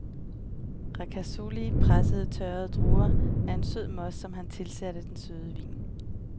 Ricasoli pressede tørrede druer til en sød most, som han tilsatte den unge vin.